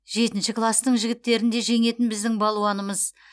жетінші кластың жігіттерін де жеңетін біздің балуанымыз